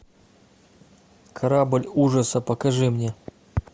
корабль ужаса покажи мне